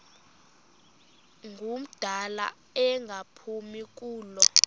ngumdala engaphumi kulo